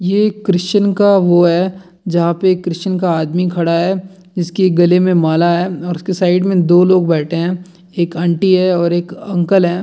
ये एक क्रिश्चन का वो है जहाँ पे क्रिश्चन का आदमी खड़ा है। इसके गले में माला है और उसके साइड में दो लोग बैठे हैं एक आंटी है और एक अंकल हैं।